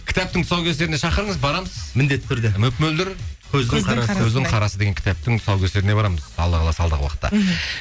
кітаптың тұсаукесеріне шақырыңыз барамыз міндетті түрде мөп мөлдір қарасы деген кітаптың тұсаукесеріне барамыз алла қаласа алдағы уақытта